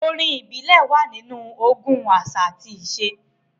Orin ìbílẹ̀ wà nínú ogún àṣà àti àṣà.